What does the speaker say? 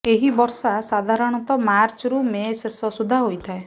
ଏହି ବର୍ଷା ସାଧାରଣତଃ ମାର୍ଚ୍ଚରୁ ମେ ଶେଷ ସୁଦ୍ଧା ହୋଇଥାଏ